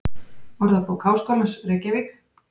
Orðabók Háskólans, Reykjavík.